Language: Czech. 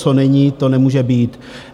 Co není, to nemůže být.